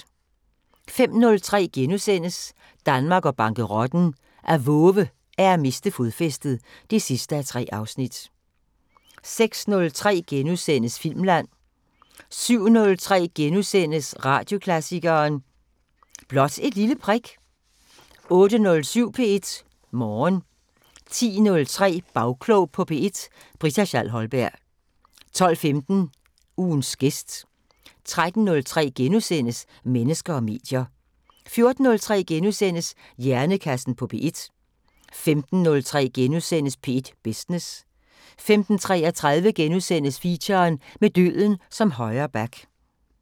05:03: Danmark og bankerotten: At vove er at miste fodfæstet (3:3)* 06:03: Filmland * 07:03: Radioklassikeren: Blot et lille prik * 08:07: P1 Morgen 10:03: Bagklog på P1: Britta Schall Holberg 12:15: Ugens gæst 13:03: Mennesker og medier * 14:03: Hjernekassen på P1 * 15:03: P1 Business * 15:33: Feature: Med døden som højre back *